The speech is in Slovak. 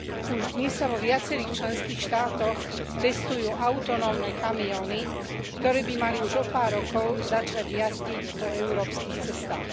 Už dnes sa vo viacerých členských štátoch testujú autonómne kamióny, ktoré by mali už o pár rokov začať jazdiť po európskych cestách.